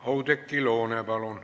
Oudekki Loone, palun!